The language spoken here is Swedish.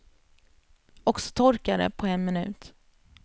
Och så torkar det på en minut.